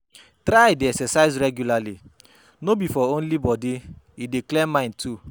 Try de exercise regularly no be for only body e dey clear mind too